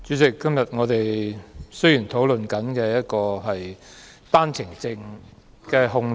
主席，我們今天討論的是單程證人口的控制。